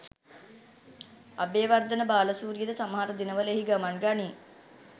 අබේවර්ධන බාලසූරියද සමහර දිනවල එහි ගමන් ගනී.